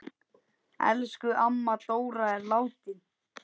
Elsku amma Dóra er látin.